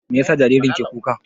Meyasa jaririn ke kuka?